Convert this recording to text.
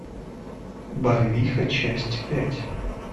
барвиха часть пять